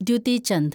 Dutee Chand